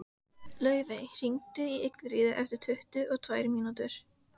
Laufey, hringdu í Ingiríði eftir tuttugu og tvær mínútur.